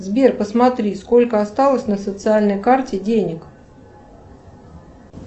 сбер посмотри сколько осталось на социальной карте денег